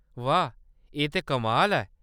वाह ! एह्‌‌ ते कमाल ऐ।